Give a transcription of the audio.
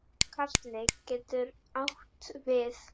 Karli getur átt við